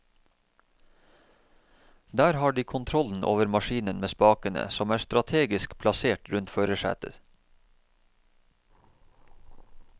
Der har de kontrollen over maskinen med spakene, som er strategisk plassert rundt førersetet.